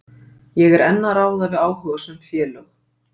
Ég er enn að ræða við áhugasöm félög.